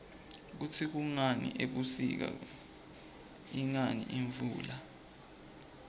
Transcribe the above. kutsi kungani ebusika ingani imvula